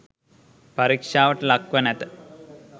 පරීක්ෂාවට ලක්ව නැත